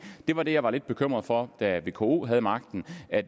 var det jeg var lidt bekymret for da vko havde magten